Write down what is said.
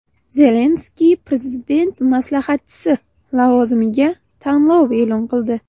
Zelenskiy prezident maslahatchisi lavozimiga tanlov e’lon qildi.